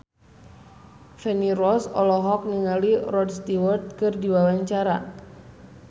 Feni Rose olohok ningali Rod Stewart keur diwawancara